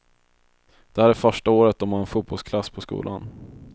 Det här är första året de har en fotbollsklass på skolan.